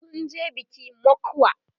sunje biki mokwa